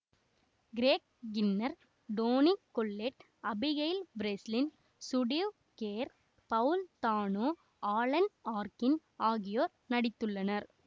Craig Kinnear Toni Collette Abigail Breslin Steve Carell Paul Dano Alan Arkin ஆகியோர் நடித்துள்ளனர்